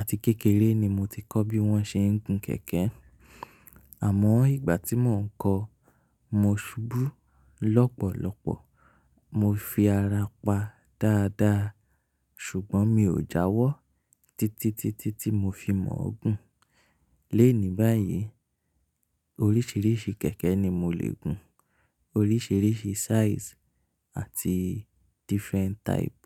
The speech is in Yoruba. àti kékeré ni mo ti kọ́ bí wón ṣe ń gun kẹ̀kẹ́. Àmọ́ ìgbà tí mò ń kọ, mo ṣubú lọ́pọ̀lọ́pọ̀, mo fi ara pa dáadáa ṣùgbọ́n mi ò jáwọ́ títítítí tí mo fi mọ̀ ọ́ gùn. L'enì báyìí oríṣiríṣi kẹ̀kẹ́ ni mo lè gun, oríṣiríṣi size àti different type.